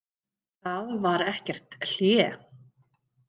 Það var ekkert hlé.